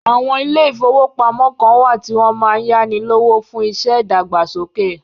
Àwọn ilé ìfọwọ́pamo kàn wá tí wọn máa ń yáni lówó fún iṣẹ́ ìdàgbàsókè.